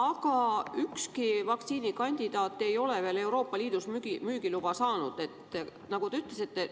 Aga ükski vaktsiinikandidaat ei ole veel Euroopa Liidus müügiluba saanud, nagu te ütlesite.